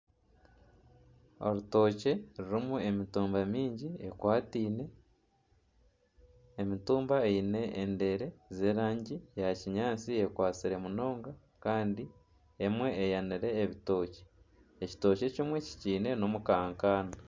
Orutookye rurimu emitumba mingi ekwataine emitumba eine endeere z'erangi ya kinyaatsi ekwatsire munonga kandi emwe eyaniire ebitookye, ekitookye ekimwe kikiine n'omu kakaana.